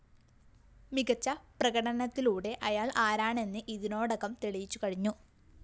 മികച്ച പ്രകടനത്തിലൂടെ അയാള്‍ ആരാണെന്ന് ഇതിനോടകം തെളിയിച്ചു കഴിഞ്ഞു